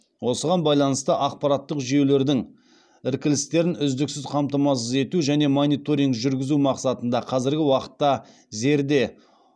осыған байланысты ақпараттық жүйелердің іркілістерін үздіксіз қамтамасыз ету және мониторинг жүргізу мақсатында қазіргі уақытта зерде